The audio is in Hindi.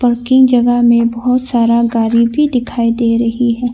पार्किंग जंगहा में बहोत सारा गाड़ी भी दिखाई दे रही है।